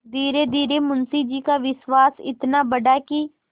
धीरेधीरे मुंशी जी का विश्वास इतना बढ़ा कि